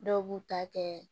Dɔw b'u ta kɛ